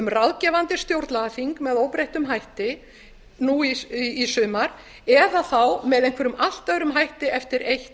ráðgefandi stjórnlagaþing með óbreyttum hætti nú í sumar eða þá með einhverjum allt öðrum hætti eftir eitt